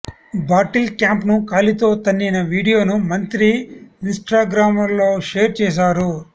bottle క్యాప్ను కాలితో తన్నిన వీడియోను మంత్రి ఇన్స్టాగ్రామ్లో షేర్ చేశారు